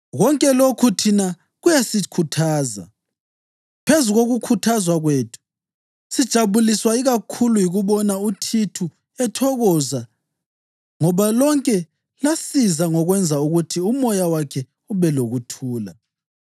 Konke lokhu thina kuyasikhuthaza. Phezu kokukhuthazwa kwethu, sijabuliswa ikakhulu yikubona uThithu ethokoza ngoba lonke lasiza ngokwenza ukuthi umoya wakhe ube lokuthula.